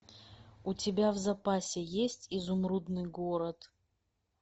у тебя в запасе есть изумрудный город